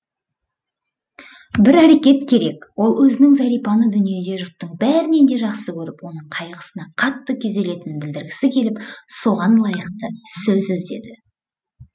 бір әрекет керек ол өзінің зәрипаны дүниеде жұрттың бәрінен де жақсы көріп оның қайғысына қатты күйзелетінін білдіргісі келіп соған лайықты сөз іздеді